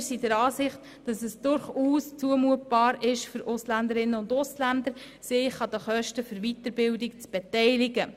Es ist den Ausländerinnen und Ausländern deshalb durchaus zumutbar, sich an den Kosten für ihre Weiterbildung zu beteiligen.